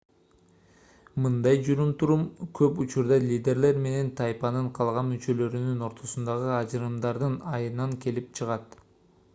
мындай жүрүм-турум көп учурда лидерлер менен тайпанын калган мүчөлөрүнун ортосундагы ажырымдардын айынан келип чыгат